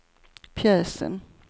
pjäsen